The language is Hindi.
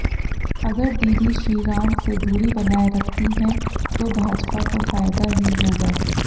अगर दीदी श्रीराम से दूरी बनाए रखती हैं तो भाजपा को फायदा ही होगा